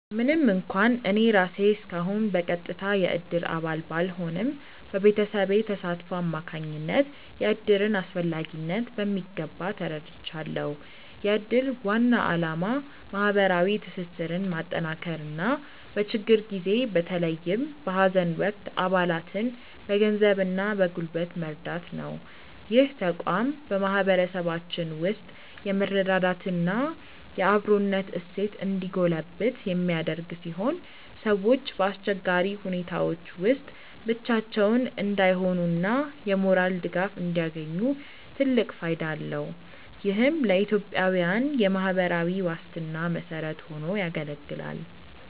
ምንም እንኳን እኔ ራሴ እስካሁን በቀጥታ የእድር አባል ባልሆንም፣ በቤተሰቤ ተሳትፎ አማካኝነት የእድርን አስፈላጊነት በሚገባ ተረድቻለሁ። የእድር ዋና ዓላማ ማህበራዊ ትስስርን ማጠናከርና በችግር ጊዜ በተለይም በሀዘን ወቅት አባላትን በገንዘብና በጉልበት መርዳት ነው። ይህ ተቋም በማህበረሰባችን ውስጥ የመረዳዳትና የአብሮነት እሴት እንዲጎለብት የሚያደርግ ሲሆን፣ ሰዎች በአስቸጋሪ ሁኔታዎች ውስጥ ብቻቸውን እንዳይሆኑና የሞራል ድጋፍ እንዲያገኙ ትልቅ ፋይዳ አለው። ይህም ለኢትዮጵያዊያን የማህበራዊ ዋስትና መሰረት ሆኖ ያገለግላል።